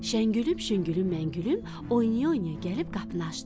Şəngülüm, şüngülüm, məngülüm oyna-oyna gəlib qapını açdılar.